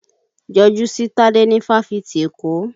Yọjú si Tade ní fáfitì Èkó!